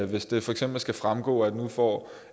hvis det for eksempel skal fremgå at nu får